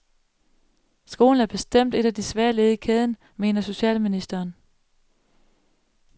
Skolen er bestemt et af de svage led i kæden, mener socialministeren.